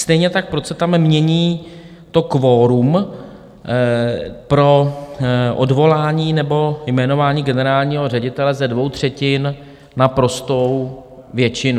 Stejně tak proč se tam mění to kvorum pro odvolání nebo jmenování generálního ředitele ze dvou třetin na prostou většinu.